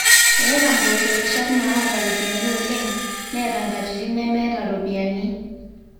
eeta impoosho irrishat naata iropiyiani oleng neeta inkatitin nemeeta iropiyiani